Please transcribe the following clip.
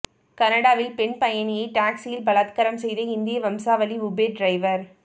கனடாவில் பெண் பயணியை டாக்சியில் பலாத்காரம் செய்த இந்திய வம்சாவளி உபேர் டிரைவர்